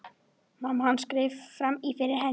Mamma hans greip fram í fyrir henni.